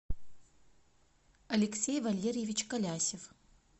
алексей валерьевич калясев